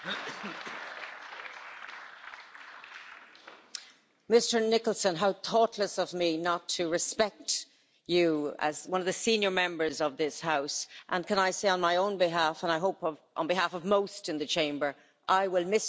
Mr Nicholson, how thoughtless of me not to respect you as one of the senior Members of this House. Can I say on my own behalf and I hope on behalf of most in the Chamber that I will miss you if you go, but if' is the word I underline.